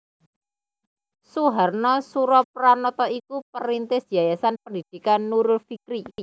Suharna Surapranata iku perintis Yayasan Pendidikan Nurul Fikri